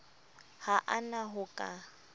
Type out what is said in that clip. ha a na ho ka